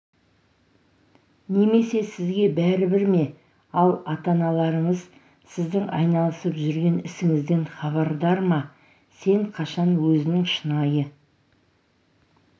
немесе сізге бәрібір ме ал ата-аналарыңыз сіздің айналысып жүрген ісіңізден хабардар ма сен қашан өзінің шынайы